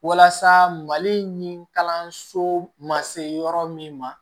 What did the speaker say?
Walasa mali in kalanso ma se yɔrɔ min ma